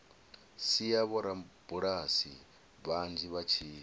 sia vhorabulasi vhanzhi vha tshi